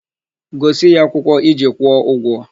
Gosi ya akwụkwọ iji kwụọ ụgwọ!